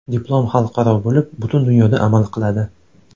Diplom xalqaro bo‘lib, butun dunyoda amal qiladi!